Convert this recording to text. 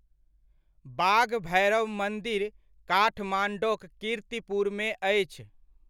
बाघभैरव मन्दिर काठमाडौक कीर्तिपुरमे अछि।